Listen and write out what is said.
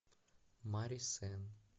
мари сенн